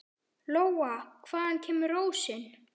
Lóa: Hvaðan kemur rósin?